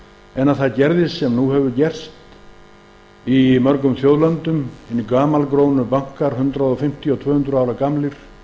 en að það gerðist sem nú hefur gerst í mörgum þjóðlöndum er að hinir gamalkunnu bankar hundrað fimmtíu og tvö hundruð ára gamlir